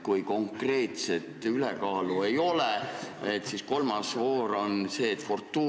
Kui konkreetset ülekaalu ei ole, siis ehk kolmandas voorus fortuuna ütleb, mis saab.